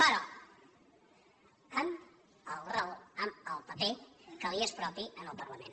però amb el rol amb el paper que li és propi al parlament